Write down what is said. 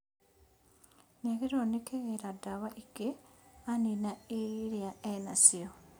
Nĩagĩrĩirwo nĩ kĩgĩra ndawa ingĩ anina irĩa ena cio